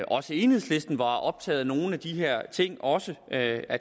også enhedslisten var optaget af nogle af de her ting og også at